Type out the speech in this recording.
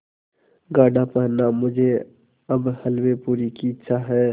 गाढ़ा पहनना मुझे अब हल्वेपूरी की इच्छा है